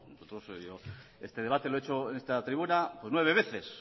nosotros yo este debate lo he hecho pues nueve veces